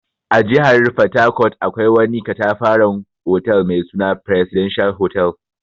A jihar fatakot akwai wani ƙatafaran otal mai suna "presidential hotel".